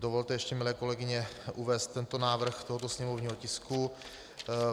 Dovolte ještě, milé kolegyně, uvést tento návrh tohoto sněmovního tisku.